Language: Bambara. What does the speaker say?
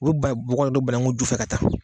U bi ba ye bɔgɔ de don banaku ju de fɛ ka taa.